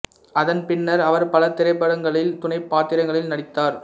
அதன் பின்னர் அவர் பல திரைப்படங்களில் துணைப் பாத்திரங்களில் நடித்தார்